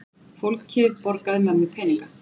Fólkið borgaði mömmu peninga!